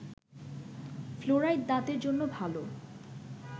fluoride দাঁতের জন্য ভালো